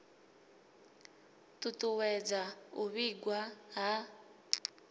ṱu ṱuwedza u vhigwa ha